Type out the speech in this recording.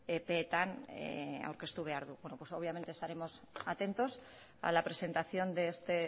epean pues obviamente estaremos atentos a la presentación de este